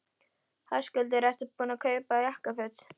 Höskuldur: Ertu búinn að kaupa jakkaföt?